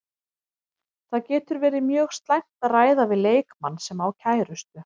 Það getur verið mjög slæmt að ræða við leikmann sem á kærustu.